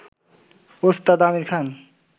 ওস্তাদ আমীর খান